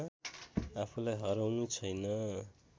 आफूलाई हराउनु छैन